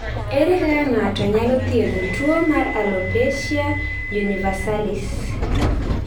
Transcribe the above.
Ere kaka ng�ato nyalo thiedho tuo mar alopecia universalis?